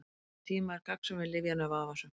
Eftir þann tíma er gagnsemi lyfjanna vafasöm.